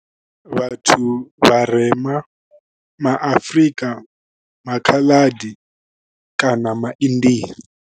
Vhathu vharema ma Afrika, ma Khaladi kana ma India.